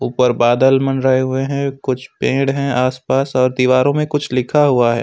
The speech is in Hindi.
ऊपर बादल मंडराए हुए हैं कुछ पेड़ हैं आसपास और दीवारों में कुछ लिखा हुआ है।